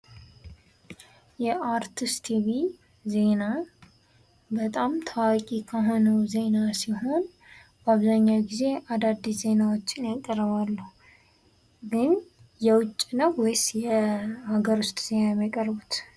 የአርቲስት ቲቪ ዜና በጣም ታዋቂ ከሆነው ዜና ሲሆን በአብዛኛው ጊዜ አዳዲስ ዜናዎችን ያቀርባሉ። ግን የውጭ ነው ወይስ የሀገር ውስጥ ዜና ነው የሚያቀርቡት።